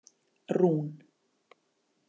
Rún